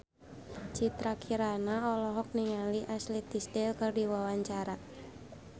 Citra Kirana olohok ningali Ashley Tisdale keur diwawancara